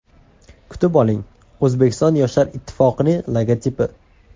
Kutib oling: O‘zbekiston Yoshlar ittifoqi logotipi.